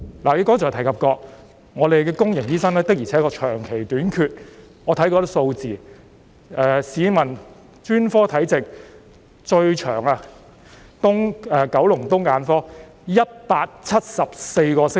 你剛才提及，公立醫院醫生的確長期短缺，我亦看過一些數字，市民輪候專科門診時間最長的是九龍東聯網的眼科，需要174個星期。